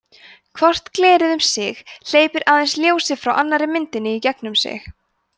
hvort glerið um sig hleypir aðeins ljósi frá annarri myndinni í gegnum sig